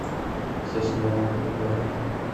соснового бора